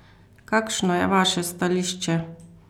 Kakšno je vaše stališče?